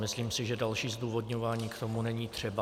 Myslím si, že další zdůvodňování k tomu není třeba.